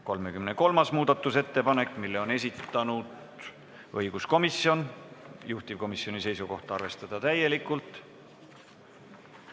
33. muudatusettepaneku on esitanud õiguskomisjon, juhtivkomisjoni seisukoht: arvestada seda täielikult.